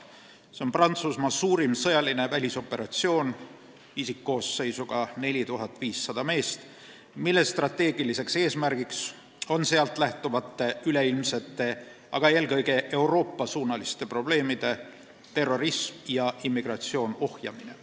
See on Prantsusmaa suurim sõjaline välisoperatsioon isikkoosseisuga 4500 meest, mille strateegiliseks eesmärgiks on sealt lähtuvate üleilmsete, aga eelkõige Euroopa-suunaliste probleemide – terrorism ja immigratsioon – ohjamine.